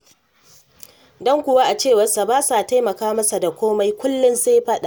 Don kuwa a cewarsa, ba sa taimaka masa da komai kullum sai faɗa.